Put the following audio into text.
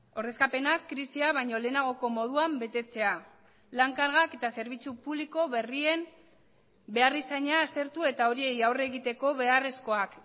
ordezkapenak krisia baino lehenagoko moduan betetzea lan kargak eta zerbitzu publiko berrien beharrizana aztertu eta horiei aurre egiteko beharrezkoak